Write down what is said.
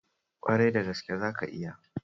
Ƙwarai da gaske, zaka iya.